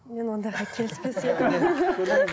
мен ондайға келіспес едім